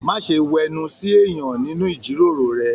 Má ṣe wẹnu sí èèyàn nínú ijiroro rẹ!